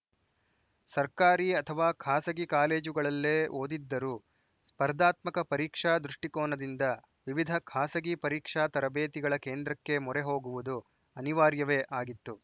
ಸರ್ಕಾರಿ ಅಥವಾ ಖಾಸಗಿ ಕಾಲೇಜುಗಳಲ್ಲೇ ಓದಿದ್ದರೂ ಸ್ಪರ್ಧಾತ್ಮಕ ಪರೀಕ್ಷಾ ದೃಷ್ಟಿಕೋನದಿಂದ ವಿವಿಧ ಖಾಸಗಿ ಪರೀಕ್ಷಾ ತರಬೇತಿಗಳ ಕೇಂದ್ರಕ್ಕೆ ಮೋರೆ ಹೋಗುವುದು ಅನಿವಾರ್ಯವೇ ಆಗಿತ್ತು